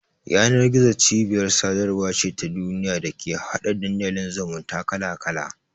Yanar-gizo cibiyar sadarwa ce ta duniya da take hada Dandalin zumunta kala-kala.